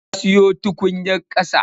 Na siyo tukunyar ƙasa.